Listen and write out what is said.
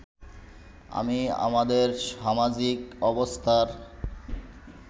আমি আমাদের সামাজিক অবস্থার